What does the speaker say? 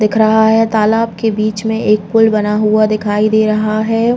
दिख रहा है तालाब के बीच में एक पुल बना हुआ दिखाई दे रहा है।